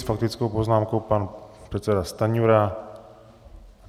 S faktickou poznámkou pan předseda Stanjura.